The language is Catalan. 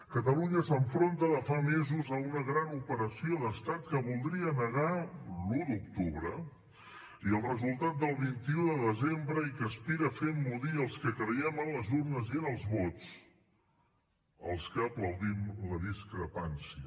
catalunya s’enfronta de fa mesos a una gran operació d’estat que voldria negar l’un d’octubre i el resultat del vint un de desembre i que aspira a fer emmudir els que creiem en les urnes i en els vots els que aplaudim la discrepància